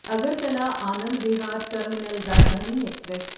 Agartala Anand Vihar terminal Rajdhani express